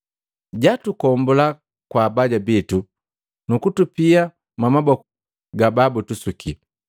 Jatukombula kwa abaya bitu nu kutupia mwamaboku babutusuki.